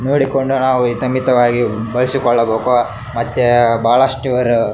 ನೋಡಿಕೊಂಡು ನಾವು ಹಿತ ಮಿತವಾಗಿ ಬಳಸಿಕೊಳ್ಳಬೇಕು ಮತ್ತೆ ಬಹಳಷ್ಟು ಅವರು --